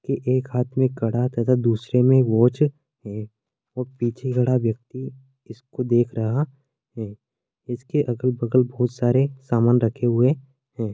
के एक हाथ में कड़ा तथा दूसरे में वॉच है पीछे खड़ा व्यक्ति इसको देख रहा है इसके अगल-बगल बहुत सारे सामान रखें हुए है।